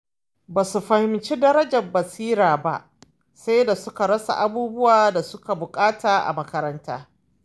Ba su fahimci darajar basira ba sai da suka rasa abubuwan da suke buƙata a makaranta.